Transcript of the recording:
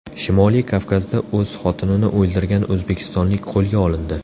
Shimoliy Kavkazda o‘z xotinini o‘ldirgan o‘zbekistonlik qo‘lga olindi.